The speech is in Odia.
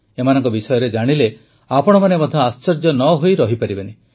ଏମାନଙ୍କ ବିଷୟରେ ଜାଣିଲେ ଆପଣମାନେ ମଧ୍ୟ ଆଶ୍ଚର୍ଯ୍ୟ ନ ହୋଇ ରହିପାରିବେନି